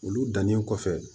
Olu dannen kɔfɛ